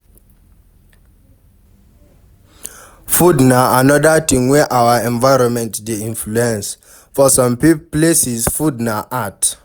Food na anoda thing wey our environment dey influence, for some places food na art